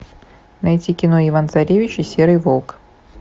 найти кино иван царевич и серый волк